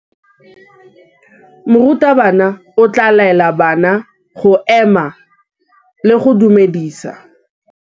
Morutabana o tla laela bana go ema le go go dumedisa.